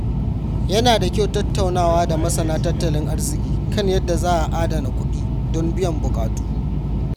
Ya na da kyau tattaunawa da masana tattalin arziki kan yadda za a adana kuɗi don biyan buƙatu.